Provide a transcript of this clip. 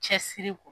Cɛsiri kɔ